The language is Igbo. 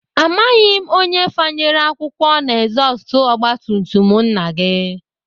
Amaghị m onye fanyere akwụkwọ n'ezọstụ ọgbatumtum nna gị